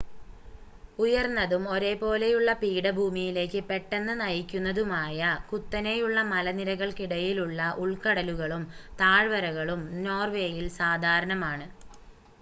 ഉയർന്നതും ഒരേ പോലെയുള്ള പീഠഭൂമിയിലേക്ക് പെട്ടെന്ന് നയിക്കുന്നതുമായ കുത്തനെയുള്ള മലനിരകൾക്കിടയിലുള്ള ഉൾക്കടലുകളും താഴ്വരകളും നോർവേയിൽ സാധാരണമാണ്